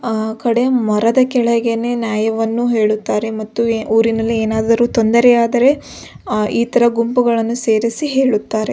ಅ ಕಡೆ ಮರದ ಕಡೆ ನ್ಯಾಯವನ್ನು ಹೇಳುತ್ತಾರೆ ಮತ್ತು ಊರಿನಲ್ಲಿ ಏನಾದರು ತೊಂದರೆ ಆದರೆ ಈತರ ಗುಂಪುಗಳನ್ನು ಸೇರಿಸಿ ಹೆಳುತ್ತಾರೆ.